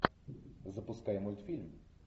запускай мультфильм